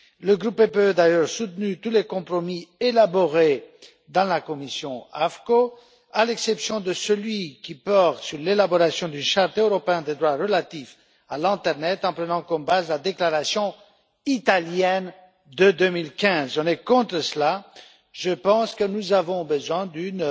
Le groupe PPE a d'ailleurs soutenu tous les compromis élaborés au sein de la commission AFCO, à l'exception de celui qui porte sur l'élaboration d'une charte européenne des droits relatifs à l'internet, en prenant comme base la déclaration italienne de 2015. Nous sommes contre cela. Je pense que nous avons besoin d'une